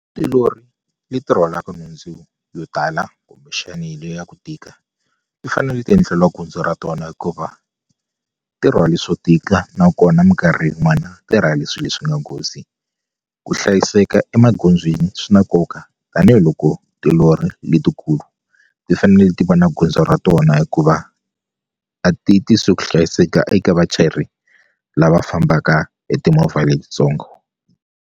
Tilori leti rhwalaka nhundzu yo tala kumbexani liya ya ku tika ti fanele ti endleliwa gondzo ra tona hikuva ti rhwale swo tika nakona mikarhi yin'wana tirhwale swi leswi nga nghozi ku hlayiseka emagondzweni swi na nkoka tanihiloko tilori letikulu ti fanele ti va na gondzo ra tona hikuva a ti tisi ku hlayiseka eka vachayeri lava fambaka hi timovha letitsongo.